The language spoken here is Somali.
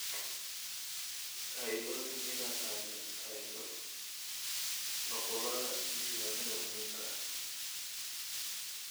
Ha iloobin inaad hayso nuqullada diiwaannada muhiimka ah.